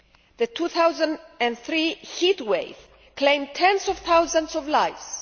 The 2003 heatwave claimed tens of thousands of lives.